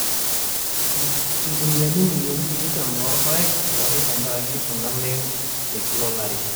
irkuniyiani imilioni tikitam loorpaek elauni te nkaraki olameyu te Kila olari